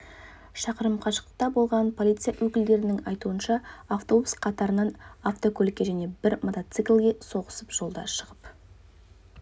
шақырым қашықтықта болған полиция өкілдерінің айтуынша автобус қатарынан автокөлікке және бір мотоциклге соғысып жолдан шығып